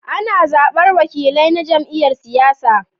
Ana zabar wakilai na jam'iyyar siyasa.